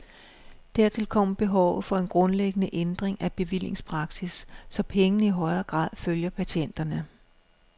Dertil kommer behovet for en grundlæggende ændring af bevillingspraksis, så pengene i højere grad følger patienterne.